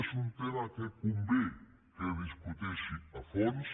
és un tema que convé que es discuteixi a fons